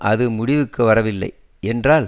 அது முடிவுக்கு வரவில்லை என்றால்